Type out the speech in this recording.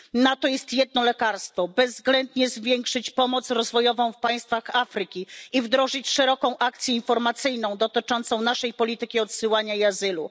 Na to jest jedno lekarstwo bezwzględnie zwiększyć pomoc rozwojową w państwach Afryki i wdrożyć szeroką akcję informacyjną dotyczącą naszej polityki odsyłania i azylu.